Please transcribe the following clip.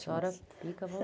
A senhora fica à